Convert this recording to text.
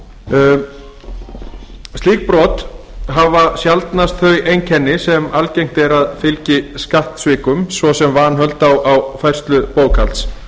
skattalagabrotum slík brot hafa sjaldnast þau einkenni sem algengt er að fylgi skattsvikum svo sem vanhöld á færslu bókhalds